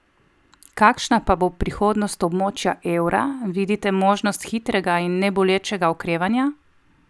Kakšna pa bo prihodnost območja evra, vidite možnost hitrega in nebolečega okrevanja?